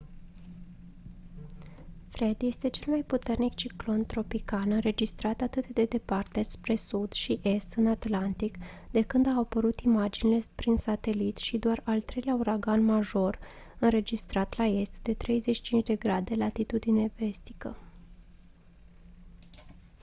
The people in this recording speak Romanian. fred este cel mai puternic ciclon tropical înregistrat atât de departe spre sud și est în atlantic de când au apărut imaginile prin satelit și doar al treilea uragan major înregistrat la est de 35°v